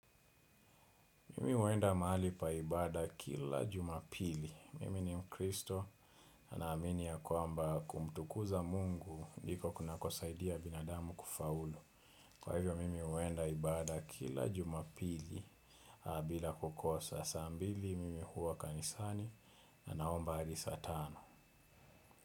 Mimi huenda mali pa ibada kila jumapili. Mimi ni mkristo, naamini ya kwamba kumtukuza mungu, ndiko kunakosaidia binadamu kufaulu. Kwa hivyo, mimi huenda ibada kila jumapili, na bila kukosa, saa mbili mimi huwa kanisani, naomba hadi saa tano.